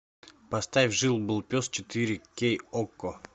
поставь жил был пес четыре кей окко